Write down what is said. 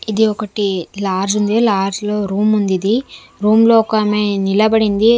ఇది ఒకటి లాడ్జ్ ఉంది లాడ్జ్ లో రూముందిది రూమ్ లో ఒకామె నిలబడింది.